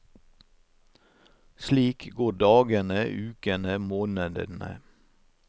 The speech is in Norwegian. Slik går dagene, ukene, månedene.